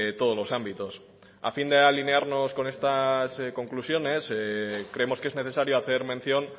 todos los ámbitos a fin de alinearnos con estas conclusiones creemos que es necesario hacer mención